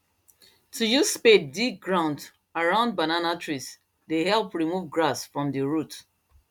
to use spade dig ground around banana trees dey help remove grass from the root